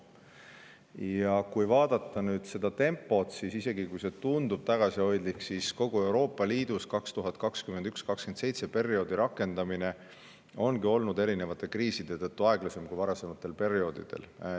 Ja kui vaadata nüüd seda tempot, siis isegi, kui see tundub tagasihoidlik, ongi kogu Euroopa Liidu 2021–2027 perioodi rakendamine olnud erinevate kriiside tõttu aeglasem kui varasematel perioodidel.